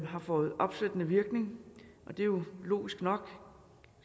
har fået opsættende virkning det er jo logisk nok